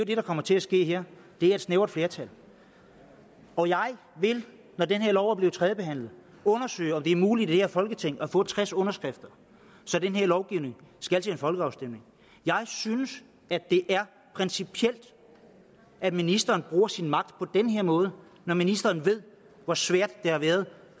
det der kommer til at ske her det er et snævert flertal og jeg vil når det her lovforslag er blevet tredjebehandlet undersøge om det er muligt i det her folketing at få tres underskrifter så den her lovgivning skal til en folkeafstemning jeg synes det er principielt at ministeren bruger sin magt på den her måde når ministeren ved hvor svært det har været